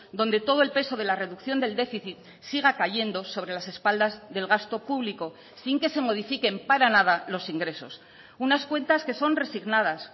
donde todo el peso de la reducción del déficit siga cayendo sobre las espaldas del gasto público sin que se modifiquen para nada los ingresos unas cuentas que son resignadas